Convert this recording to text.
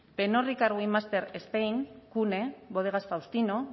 cvne bodegas